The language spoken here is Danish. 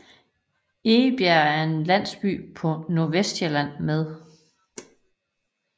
Egebjerg er en landsby på Nordvestsjælland med